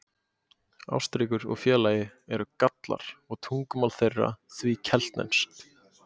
Ástríkur og félaga eru Gallar og tungumál þeirra því keltneskt.